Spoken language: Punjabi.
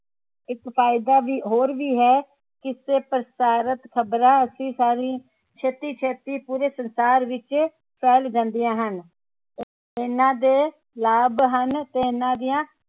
ਇਕ ਫਾਇਦਾ ਵੀ ਹੋਰ ਵੀ ਹੈ ਇਸਤੇ ਪ੍ਰਸਾਰਿਤ ਖਬਰਾਂ ਅਸੀਂ ਸਾਰੀ ਛੇਤੀ ਛੇਤੀ ਪੂਰੇ ਸੰਸਾਰ ਵਿਚ ਫੈਲ ਜਾਂਦੀਆਂ ਹਨ ਇਹਨਾਂ ਦੇ ਲਾਭ ਹਨ ਤੇ ਇਹਨਾਂ ਦੀਆਂ